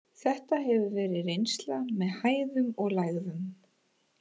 Þetta hefur verið reynsla með hæðum og lægðum.